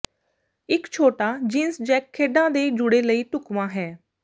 ਇੱਕ ਛੋਟਾ jeans jack ਖੇਡਾਂ ਦੇ ਜੂੜੇ ਲਈ ਢੁਕਵਾਂ ਹੈ